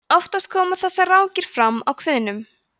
oftast koma þessar rákir fram á kviðnum